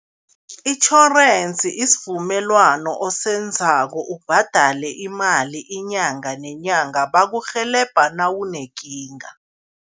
Itjhorensi isivumelwano osenzako ubhadale imali inyanga nenyanga, bakurhelebha nawunekinga.